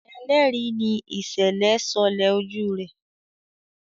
ẹlẹri ní ìsèlè sọlẹ ojú rẹ.